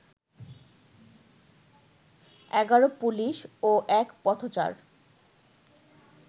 ১১ police ও এক পথচার